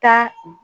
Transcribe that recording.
Taa